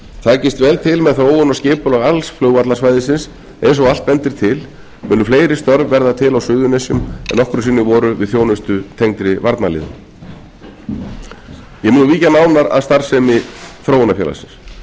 takist vel til með þróun og skipulag alls flugvallarsvæðisins eins og allt bendir til munu fleiri störf verða til á suðurnesjum en nokkru sinni voru við þjónustu tengdri varnarliðinu ég mun víkja nánar að starfsemi þróunarfélagsins